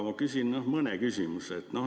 Ma küsin mõne küsimuse.